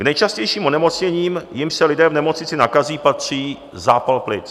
K nejčastějším onemocněním, jimiž se lidé v nemocnici nakazí, patří zápal plic.